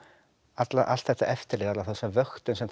allt þetta eftirlit eða þessa vöktun sem